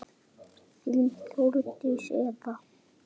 Þín Þórdís.